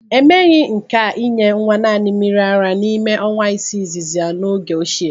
E meghi nke inye nwa naanị mmiri ara n'ime ọnwa isii izizi ya n'oge ochie.